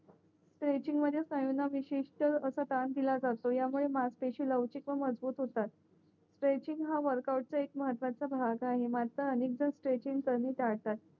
स्ट्रेचिंगमध्ये विशिष्ट असा काम दिला जातो या मुळे मजपेशी लवचिक व मजबूत होतात स्ट्रेचिंग हा एक वोर्कआउटचा एक महत्वाचा भाग आहे स्ट्रेचिंग कमी चालतात